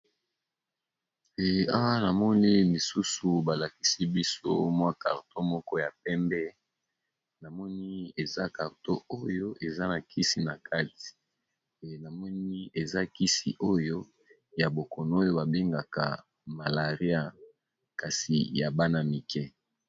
Awa namoni lisusu balakisi biso carton moko ya pembe namoni eza carton , oyo eza na kisi na kati namoni eza kisi oyo ya bokono oyo babengaka malaria kasi ya bana mike.